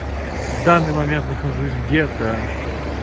в данный момент нахожусь где-то